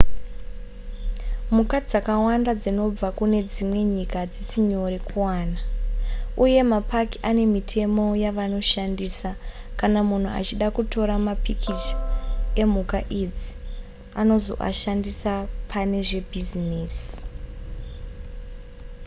mhuka dzakawanda dzinobva kune dzimwe nyika hadzisi nyore kuwana uye mapaki ane mitemo yavanoshandisa kana munhu achida kutora mapikicha emhuka idzi kuti azoashandisa pane zvebhizinesi